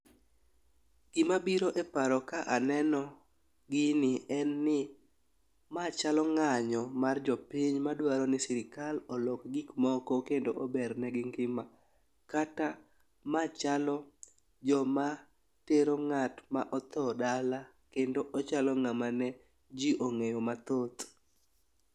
Gima biro e paro ka aneno gini en ni ma chalo ng'anyo mar jopiny madwaro ni sirikal olok gik moko kendo ober ne gi ngima. Kata ma chalo joma tero ng'at ma otho dala kendo ochalo ng'ama ne jii ong'eyo mathoth.